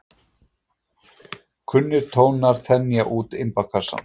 Kunnir tónar þenja út imbakassann.